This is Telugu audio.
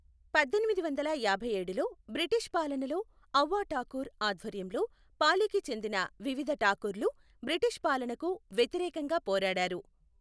పద్దెనిమిది వందల యాభైఏడులో బ్రిటిష్ పాలనలో ఔవా ఠాకూర్ ఆధ్వర్యంలో పాలికి చెందిన వివిధ ఠాకూర్ లు బ్రిటిష్ పాలనకు వ్యతిరేకంగా పోరాడారు.